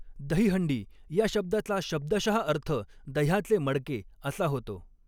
दहीहंडी या शब्दाचा शब्दशहा अर्थ दह्याचे मडके असा होतो.